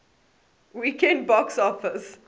weekend box office